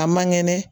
A man kɛnɛ